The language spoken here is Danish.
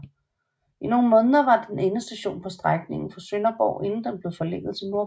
I nogle måneder var den endestation på strækningen fra Sønderborg inden den blev forlænget til Nordborg